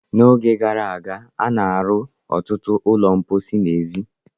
N'oge gara aga, a na-arụ ọtụtụ ụlọ mposi n'èzí.